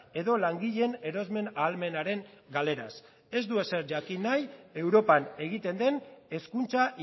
edo langileen erosmen ahalmenaren galeraz ez du ezer jakin nahi europan egiten den hezkuntza